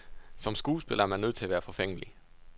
Som skuespiller er man nødt til at være forfængelig.